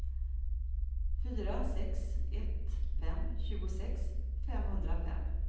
fyra sex ett fem tjugosex femhundrafem